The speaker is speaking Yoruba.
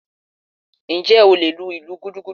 Njẹ o le lú ìlú gúdúgúdú?